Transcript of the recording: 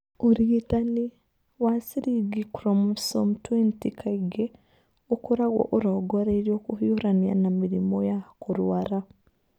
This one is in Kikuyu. Ũrigitani wa ciringi chromosome 20 kaingĩ ũkoragwo ũrongoreirio kũhiũrania na mĩrimũ ya kũrũara.